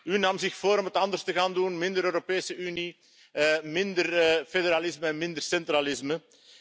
U nam zich voor om het anders te gaan doen, minder Europese Unie, minder federalisme, minder centralisme.